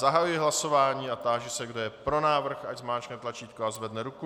Zahajuji hlasování a táži se, kdo je pro návrh, ať zmáčkne tlačítko a zvedne ruku.